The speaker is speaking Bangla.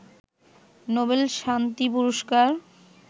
নোবেল শান্তি পুরস্কার